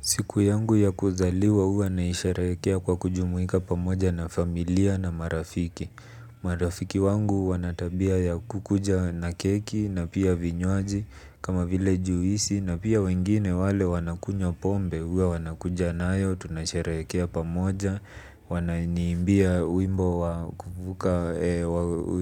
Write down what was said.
Siku yangu ya kuzaliwa huwa naisherehekea kwa kujumuika pamoja na familia na marafiki. Marafiki wangu wana tabia ya kukuja na keki na pia vinywaji kama vile juisi na pia wengine wale wanakunywa pombe huwa wanakuja nayo. Tunasherehekea pamoja. Wananiimbia wimbo wa kuvuka